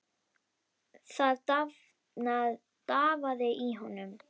Það drafaði í honum.